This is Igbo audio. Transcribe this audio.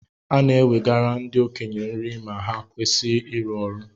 E na-nwegara ndi okenye nri ma ha kwesi iri ọrụ